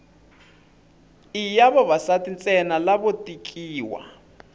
i ya vavasati ntsena lavo tekiwa